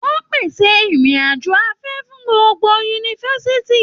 Wọn pèsè irin-ajo afẹ fún gbogbo yunifásítì.